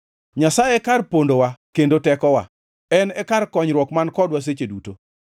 Nyasaye e kar pondowa kendo tekowa, en e kar konyruok man kodwa seche duto.